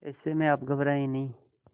ऐसे में आप घबराएं नहीं